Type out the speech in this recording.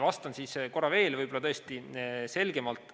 Vastan siis korra veel, võib-olla tõesti selgemalt.